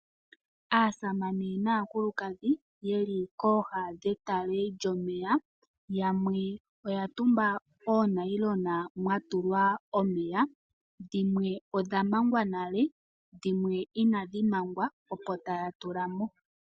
Aasamane naakulukadhi yeli kooha dhetale lyomeya. Yamwe Oya tumba oonayilona dhomeya dhimwe odha mangwa nale dhimwe inadhi mangwa opo taya tu lamo.